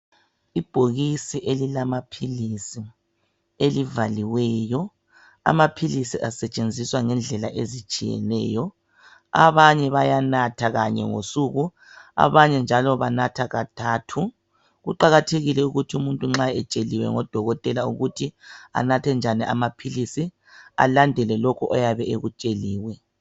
Ibhokisi elilema philisi elivaliweyo. Amaphilisi asetshenziswa ngendlela ezitshiyeneyo. Abanye bayanatha kanye ngosuku abanye njalo banatha kathathu. Kuqakathekile ukuthi umuntu nxa etsheliwe ngodokotela ukuthi anathe njani amaphilisi alandele lokhu ayabe ekutsheliwe.